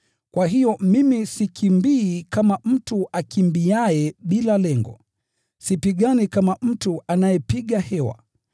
Kwa hiyo mimi sikimbii kama mtu akimbiaye bila lengo, sipigani kama mtu anayepiga hewa,